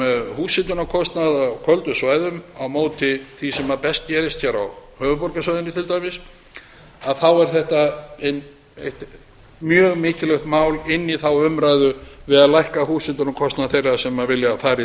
húshitunarkostnað á köldum svæðum á móti því sem best gerist hér á höfuðborgarsvæðinu til dæmis að þá er þetta mjög mikilvægt mál inn í þá umræðu við að lækka húshitunarkostnað þeirra sem vilja fara í